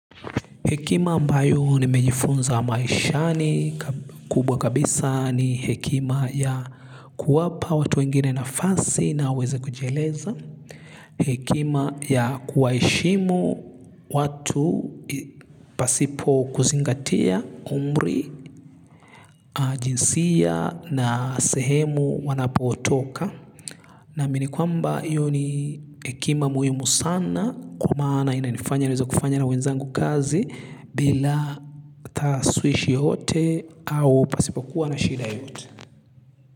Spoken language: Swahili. Hekima ambayo nimejifunza maishani kubwa kabisa ni hekima ya kuwapa watu wengine nafasi na waweze kujieleza. Hekima ya kuwaheshimu watu pasipo kuzingatia umri, jinsia na sehemu wanapotoka. Naamini kwamba hiyo ni hekima muhimu sana kwa maana inanifanya niweze kufanya na wenzangu kazi bila taaswishi yoyote au pasipokuwa na shida yote.